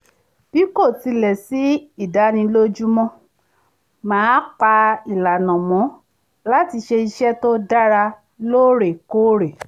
bí kò tilẹ̀ sí ìdánilójú mo máa ń pa ìlànà mọ́ láti ṣe iṣẹ́ tó dára lóòrèkóòrè